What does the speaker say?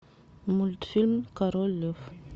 мультфильм король лев